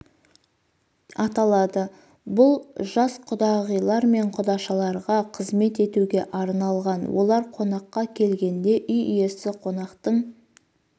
аталады бұл жас құдағайлар мен құдашаларға қызмет етуге арналған олар қонаққа келгенде үй иесі қонақтың